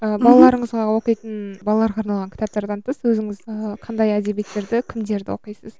ыыы балаларыңызға оқитын балаларға арналған кітаптардан тыс өзіңіз ыыы қандай әдебиеттерді кімдерді оқисыз